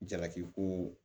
Jalaki ko